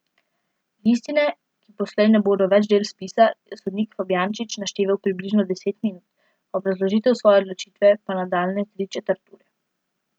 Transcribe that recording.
Listine, ki poslej ne bodo več del spisa, je sodnik Fabjančič našteval približno deset minut, obrazložitev svoje odločitve pa nadaljnje tri četrt ure.